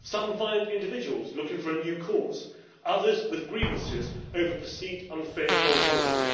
some violent individuals looking for a new cause, others with grievances over perceived unfair foreign policy